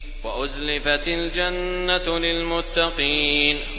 وَأُزْلِفَتِ الْجَنَّةُ لِلْمُتَّقِينَ